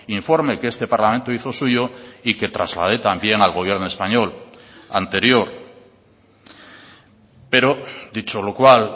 informe que este parlamento hizo suyo y que traslade también al gobierno español anterior pero dicho lo cual